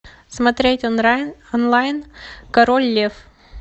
смотреть онлайн король лев